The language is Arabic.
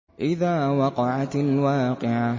إِذَا وَقَعَتِ الْوَاقِعَةُ